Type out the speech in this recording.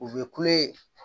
U bɛ kule